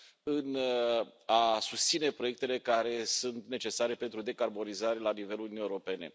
în a susține proiectele care sunt necesare pentru decarbonizare la nivelul Uniunii Europene.